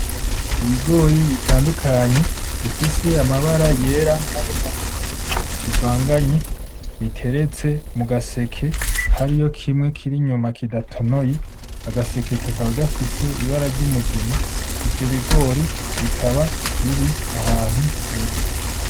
Ibigori bitandukanye bifise amabara y'era na y'umuhondo bivanganye biteretse mu gaseke hariyo kimwe kiri inyuma kidatonoye agaseke kakaba gafise ibara ry'umugina ivyo bigori bikaba biri ahantu heza .